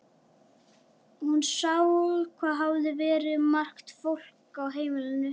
Hún sá hvað hafði verið margt fólk á heimilinu.